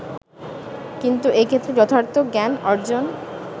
কিন্তু এক্ষেত্রে যথার্থ জ্ঞান অর্জন